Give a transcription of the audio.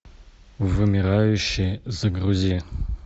вымирающие загрузи